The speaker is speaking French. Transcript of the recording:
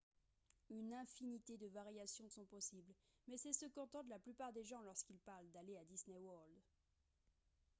une infinité de variations sont possibles mais c’est ce qu’entendent la plupart des gens lorsqu’ils parlent d’« aller à disney world »